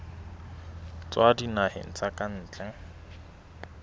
tswa dinaheng tsa ka ntle